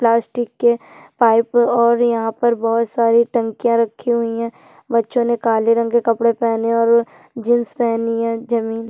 Plastic के pipe और यहाँ पर बहोत सारे टंकिया रखी हुई है बच्चोने काले रंग के कपडे पहने है और जीन्स पहनी है। जमीन--